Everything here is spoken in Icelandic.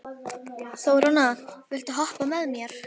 Þórhanna, viltu hoppa með mér?